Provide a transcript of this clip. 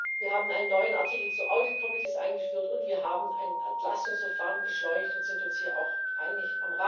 Wir haben einen neuen Artikel zu Audit Ausschüssen eingeführt, und wir haben ein Entlastungsverfahren beschleunigt und sind uns hier auch einig.